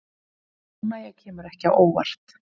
Óánægja kemur ekki á óvart